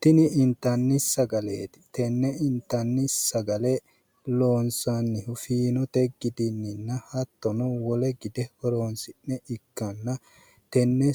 tini inttanni sagaleetti iseno fiinote gide horoonsi'ne loonsanniha ikanna tenne